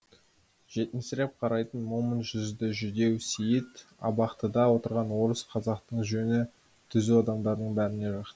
жетімсіреп қарайтын момын жүзді жүдеу сейіт абақтыда отырған орыс қазақтың жөні түзу адамдарының бәріне жақ